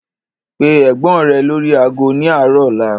Pe Ẹ̀gbọ́n rẹ lórí ago ni arọ ọ̀la!